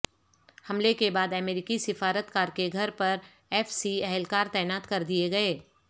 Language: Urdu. حملے کے بعد امریکی سفارتکار کے گھر پر ایف سی اہلکار تعینات کر دیے گئے